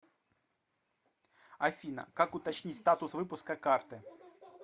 афина как уточнить статус выпуска карты